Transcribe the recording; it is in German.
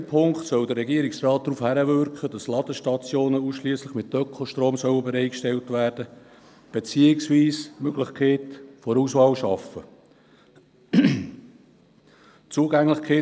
Gemäss der Ziffer 2 soll der Regierungsrat darauf hinwirken, dass Ladestationen ausschliesslich mit Ökostrom bereitgestellt werden, beziehungsweise die Möglichkeit der Auswahl geschaffen wird.